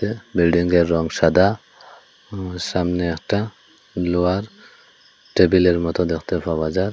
বিল্ডিংয়ের রং সাদা ম সামনে একটা লোহার টেবিলের মতো দেখতে পাওয়া যার।